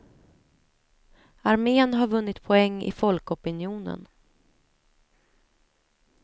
Armén har vunnit poäng i folkopinionen.